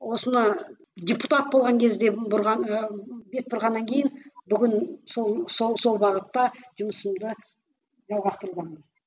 осыны депутат болған кезде бұрған ы бет бұрғаннан кейін бүгін сол сол сол бағытта жұмысымды жалғастырудамын